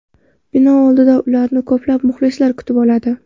Bino oldida ularni ko‘plab muxlislar kutib oladi.